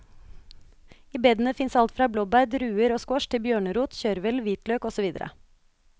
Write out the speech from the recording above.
I bedene fins alt fra blåbær, druer og squash til bjørnerot, kjørvel, hvitløk og så videre.